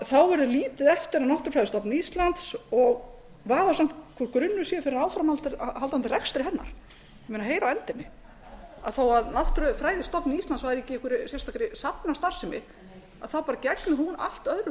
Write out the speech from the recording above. þá verður lítið eftir af náttúrufræðistofnun íslands og vafasamt hvort grunnur sé fyrir áframhaldandi rekstri hennar heyr á endemi þó að náttúrufræðistofnun íslands væri ekki í einhverri sérstakri safnastarfsemi þá bara gegnir hún allt öðru